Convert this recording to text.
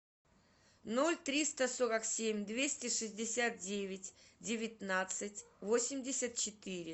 ноль триста сорок семь двести шестьдесят девять девятнадцать восемьдесят четыре